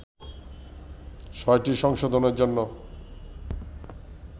ছয়টি সংশোধনের জন্য